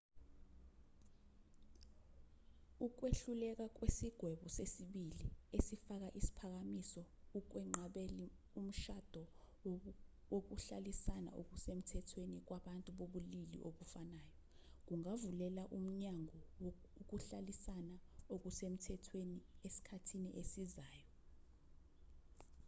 ukwehluleka kwesigwebo sesibili esifaka isiphakamiso ukwenqabeli umshado wokuhlalisana okusemthethweni kwabantu bobulili obufanayo kungavulela umnyango ukuhlalisana okusemthethweni esikhathini esizayo